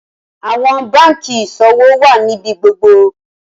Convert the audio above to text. Awọn banki iṣowo wá níbi gbogbo